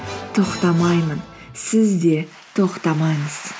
тоқтамаймын сіз де тоқтамаңыз